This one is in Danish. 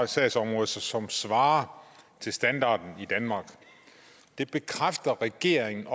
sagsområde som svarer til standarden i danmark det bekræfter regeringen